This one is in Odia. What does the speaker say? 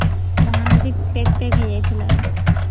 Mahanadi pack pack ହେଇଯାଇଥିଲାନା